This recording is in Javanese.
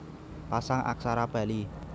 Pasang Aksara Bali